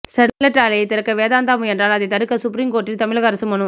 Sterlite ஆலையை திறக்க வேதாந்தா முயன்றால் அதை தடுக்க சுப்ரீம் கோர்ட்டில் தமிழக அரசு மனு